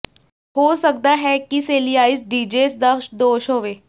ਹੋ ਸਕਦਾ ਹੈ ਕਿ ਸੇਲੀਆਾਈਜ ਡਿਜਿੇਸ ਦਾ ਦੋਸ਼ ਹੋਵੇ